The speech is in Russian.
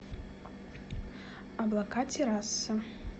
облака терраса